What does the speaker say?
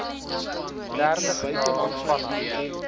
dertig dae vanaf